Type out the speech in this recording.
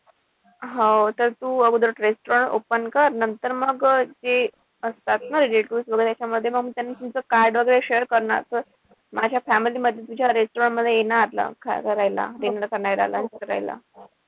हो तर तर तू अगोदर restaurant open कर. नंतर मग ते असतात ना वगैरे अशा मध्ये तुमचं card वगैरे share करणार तर माझ्या family मध्ये तुझ्या restaurant मध्ये येणार. करायला.